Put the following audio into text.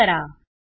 save करा